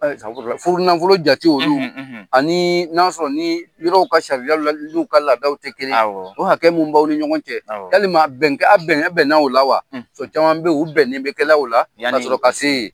Ayi safurulayi! Furu nafolo jate olu, ani n'a sɔrɔ ni yɔrɔw ka sariyaw la luw ka laadaw tɛ kelen ye, awɔ ,o hakɛ min bɛ b'aw ni ɲɔgɔn cɛ, awɔ, yalima a bɛn kɛ, a bɛnnen, bɛnna o la wa? so caman bɛ ye, u bɛnnen bɛ kɛ la o la, ka sɔrɔ ka se yen.